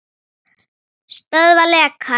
Stöðva lekann.